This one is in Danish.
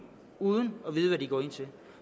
uden at vide hvad de går ind til